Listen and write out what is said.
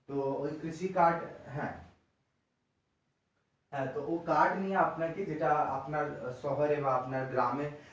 তো ওই কৃষিকাজ হ্যাঁ হ্যাঁ তো ওই কাজ নিয়ে আপনাকে যেটা আপনার শহরে বা আপনার গ্রামে